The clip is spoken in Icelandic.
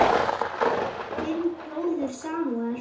Þinn bróðir Samúel.